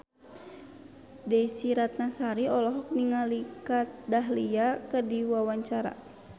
Desy Ratnasari olohok ningali Kat Dahlia keur diwawancara